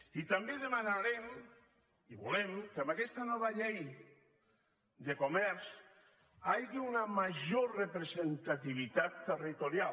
i també demanarem i volem que amb aquesta nova llei de comerç hi hagi una major representativitat territorial